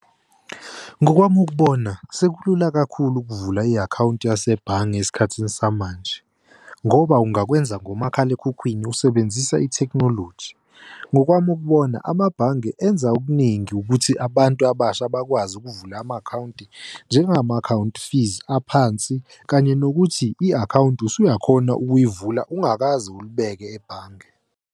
Ngokwami ukubona, sekulula kakhulu ukuvula i-akhawunti yasebhange esikhathini samanje, ngoba ungakwenza ngomakhalekhukhwini usebenzisa ithekhinoloji. Ngokwami ukubona amabhange enza okuningi ukuthi abantu abasha bakwazi ukuvula ama-akhawunti njengama-account fees, aphansi kanye nokuthi i-akhawunti usuyakhona ukuyivula ungakaze ulibeke ebhange.